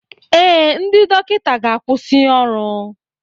Ee, ndị dọkịta ga-akwụsị ọrụ.